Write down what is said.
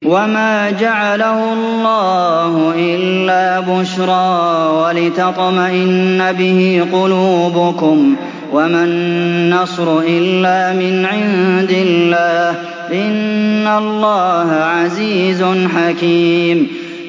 وَمَا جَعَلَهُ اللَّهُ إِلَّا بُشْرَىٰ وَلِتَطْمَئِنَّ بِهِ قُلُوبُكُمْ ۚ وَمَا النَّصْرُ إِلَّا مِنْ عِندِ اللَّهِ ۚ إِنَّ اللَّهَ عَزِيزٌ حَكِيمٌ